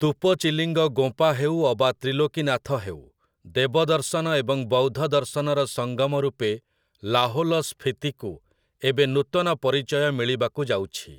ତୁପଚିଲିଙ୍ଗ ଗୋଁପା ହେଉ ଅବା ତ୍ରିଲୋକୀନାଥ ହେଉ, ଦେବଦର୍ଶନ ଏବଂ ବୌଦ୍ଧ ଦର୍ଶନର ସଙ୍ଗମ ରୂପେ ଲାହୋଲ ସ୍ଫୀତିକୁ ଏବେ ନୂତନ ପରିଚୟ ମିଳିବାକୁ ଯାଉଛି ।